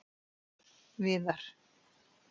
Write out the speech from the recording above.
Viðar